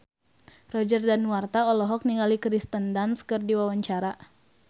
Roger Danuarta olohok ningali Kirsten Dunst keur diwawancara